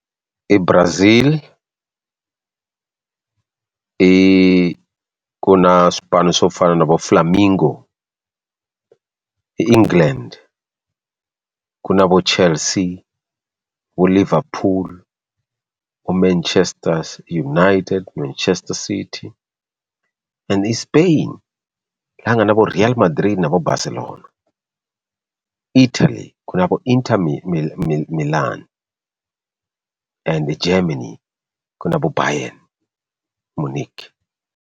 I Brazil i ku na swipano swo fana na vo Flarmingo i England ku na vo Chelsea vo Liverpool vo Manchester United Manchester City and Spain leyi nga na vo Real Madrid na vo Barcelona Italy ku na vo Inter Milan and Germany ku na vo Baryen Munich.